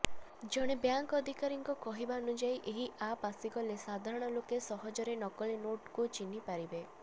ଜଣେ ବ୍ୟାଙ୍କ ଅଧିକାରୀଙ୍କ କହିବାନୁଯାୟୀ ଏହି ଆପ୍ ଆସିଗଲେ ସାଧାରଣ ଲୋକ ସହଜରେ ନକଲି ନୋଟ୍କୁ ଚିହ୍ନି ପାରିବେ